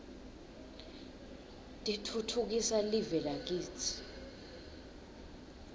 titfutfukisa live lakitsi